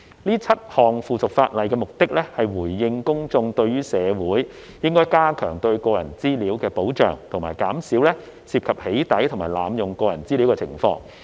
這7項附屬法例的目的，是回應公眾對於社會應該加強對個人資料的保障及減少涉及"起底"及濫用個人資料的情況。